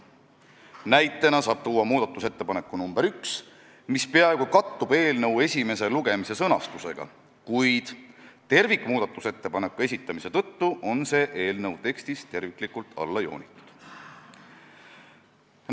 Näitena saab tuua muudatusettepaneku nr 1, mis peaaegu kattub eelnõu esimese lugemise sõnastusega, kuid tervikmuudatusettepaneku esitamise tõttu on see eelnõu tekstis terviklikult alla joonitud.